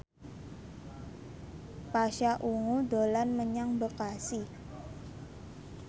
Pasha Ungu dolan menyang Bekasi